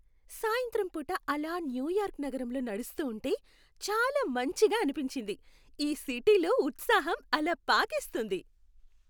సాయంత్రం పూట ఆలా న్యూ యార్క్ నగరంలో నడుస్తూ ఉంటే చాలా మంచిగా అనిపించింది. ఈ సిటీలో ఉత్సాహం అలా పాకేస్తుంది.